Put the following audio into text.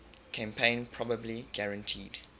campaign probably guaranteed